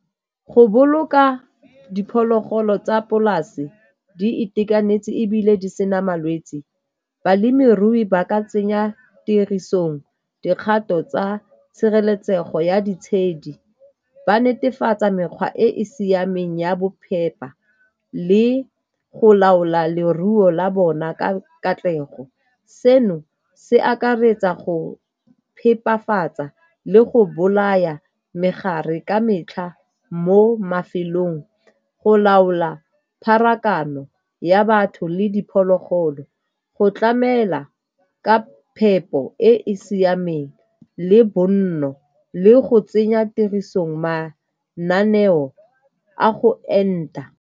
Go boloka diphologolo tsa polase di itekanetse ebile di sena malwetse, balemirui ba ka tsenya tirisong dikgato tsa tshireletsego ya ditshedi, ba netefatsa mekgwa e e siameng ya bophepa le go laola leruo la bona ka katlego. Seno se akaretsa go phepafatsa le go bolaya megare ka metlha mo mafelong, go laola pharakano ya batho le diphologolo, go tlamela ka phepo e e siameng le bonno le go tsenya tirisong mananeo a go enta.